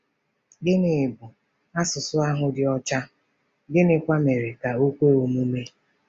Gịnị bụ ““ asụsụ ahụ dị ọcha ,” gịnịkwa mere ka o kwe omume?